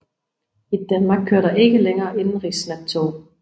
I Danmark kører der ikke længere indenrigsnattog